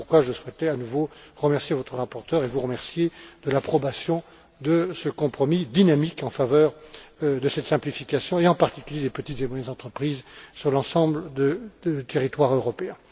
Voilà pourquoi je souhaitais à nouveau remercier votre rapporteur et vous remercier de l'approbation de ce compromis dynamique en faveur de cette simplification et, en particulier, des petites et moyennes entreprises sur l'ensemble du territoire européen.